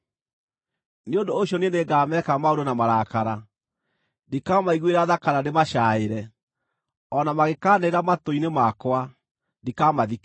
Nĩ ũndũ ũcio niĩ nĩngameka maũndũ na marakara; ndikamaiguĩra tha kana ndĩmacaaĩre. O na mangĩkaanĩrĩra matũ-inĩ makwa, ndikamathikĩrĩria.”